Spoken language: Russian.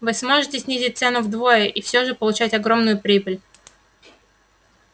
вы сможете снизить цену вдвое и всё же получать огромную прибыль